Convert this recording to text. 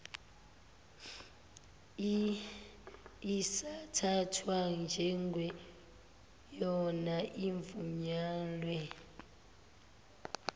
isathathwa njengeyona evunyelwe